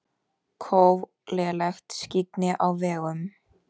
Kóf og lélegt skyggni á vegum